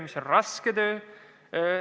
See on raske töö.